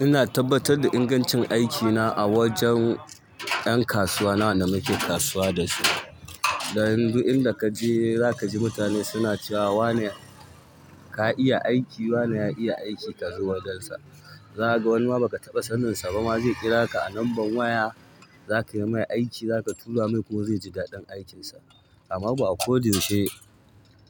Ina tabbatar da ingancin aiki na a wajen ƴan kasuwa na, wanda muke kasuwa da su, da yanzu inda ka je za ka ji mutane suna cewa wane ka iya aiki, wane ya iya aiki ka zo wajensa. Zaka ga wani ma baka taɓa sanin sa ba, ma zai kira ka, a number waya. Zaka yi mai aiki, zaka tura mai kuma zai ji daɗin aikin sa. Amma ba a ko da yaushe